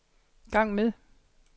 gang med